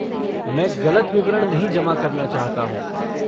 मैं गलत विवरण नहीं जमा करना चाहता हूँ।